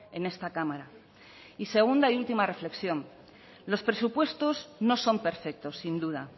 en esta cámara y segunda y última reflexión los presupuestos no son perfectos sin duda